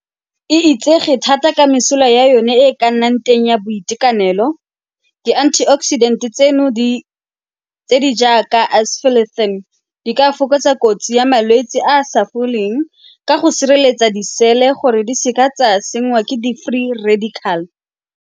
E itsege thata ka mesola ya yone e e ka nnang teng ya boitekanelo. Di- antioxidant tseno tse di jaaka di ka fokotsa kotsi ya malwetse a a sa foleng ka go sireletsa di-cell-e gore di se ka tsa senngwa ke di-free radical.